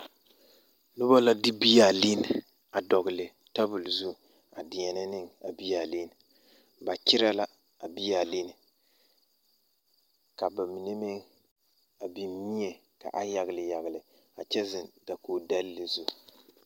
Noba la de bea linni a dɔgle tanol zu a deɛnɛ ne a bea linni ba kyerɛ la a bea linni ka ba mine meŋ a biŋ mie ka ba yagle yagle a kyɛ zeŋ dakogidɛle zu.